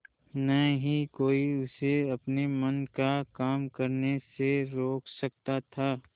न ही कोई उसे अपने मन का काम करने से रोक सकता था